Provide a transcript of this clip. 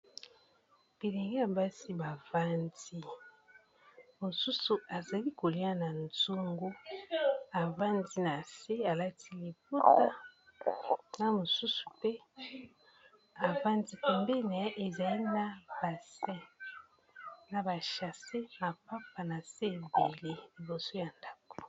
bilenge ya basi bavandi mosusu ezali kolia na zongu avandi na se alati libota na mosusu mpe avandi kombene ezali na bachasse na papa na se ebele liboso ya ndako